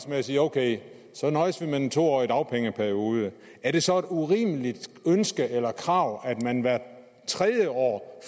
jo sige ok så nøjes vi med den to årige dagpengeperiode er det så et urimeligt ønske eller et urimeligt krav at man hvert tredje år